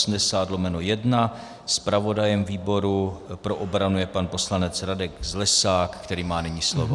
Zpravodajem výboru pro obranu je pan poslanec Radek Zlesák, který má nyní slovo.